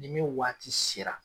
Ni min waati sera.